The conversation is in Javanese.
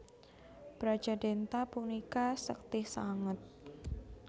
Brajadhenta punika sekti sanget